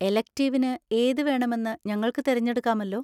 എലെക്റ്റിവിന് ഏതുവേണമെന്ന് ഞങ്ങൾക്ക് തിരഞ്ഞെടുക്കാമല്ലോ?